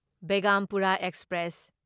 Begampura express